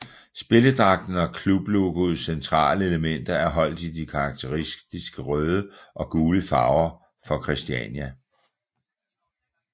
Spilledragten og klublogoets centrale elementer er holdt i de karakteristiske røde og gule farver for Christiania